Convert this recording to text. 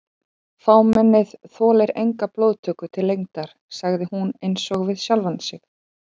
Fámennið þolir enga blóðtöku til lengdar sagði hún einsog við sjálfa sig.